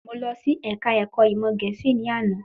Mo lọ sí Ẹ̀ka ẹ̀kọ́ ìmọ̀ Gẹ̀ẹ́sì ní àná